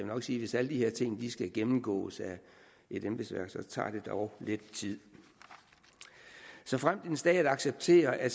nok sige at hvis alle de her ting skal gennemgås af et embedsværk tager det dog lidt tid såfremt en stat accepterer at